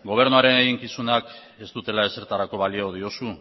gobernuaren eginkizunak ez dutela ezertarako balio diozu